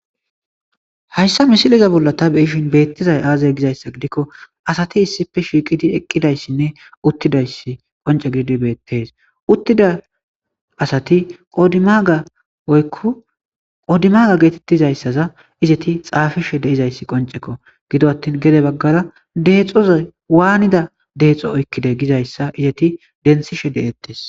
hayssa misiliza bolla ta beyishin beettizay aazey gizayssa gidikko asati issippe shiiqidi eqqidayssinne uttidaysi qonce gidi beettees uttida asati qodimaga oykku qodimaga geetettizayssaza izeti xaafishe deizayssi qoncekko gido attin gede baggara deexoza waanida deexo oykkide gizayssa izeti densishe de7ettes